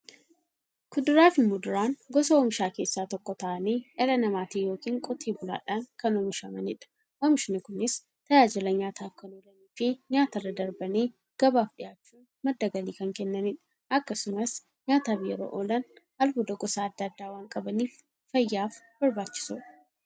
Kuduraafi muduraan gosa oomishaa keessaa tokko ta'anii, dhala namaatin yookiin Qotee bulaadhan kan oomishamaniidha. Oomishni Kunis, tajaajila nyaataf kan oolaniifi nyaatarra darbanii gabaaf dhiyaachuun madda galii kan kennaniidha. Akkasumas nyaataf yeroo oolan, albuuda gosa adda addaa waan qabaniif, fayyaaf barbaachisoodha.